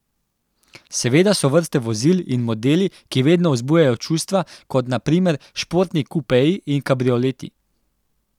Seveda so vrste vozil in modeli, ki vedno vzbujajo čustva, kot na primer športni kupeji in kabrioleti.